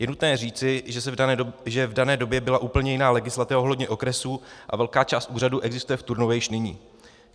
Je nutné říci, že v dané době byla úplně jiná legislativa ohledně okresů a velká část úřadů existuje v Turnově již nyní.